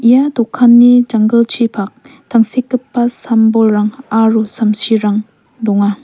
ia dokanni janggilchipak tangsekgipa sam-bolrang aro samsirang donga.